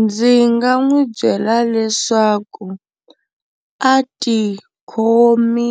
Ndzi nga n'wi byela leswaku a ti khome